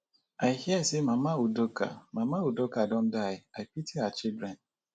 i hear say mama udoka mama udoka don die i pity her children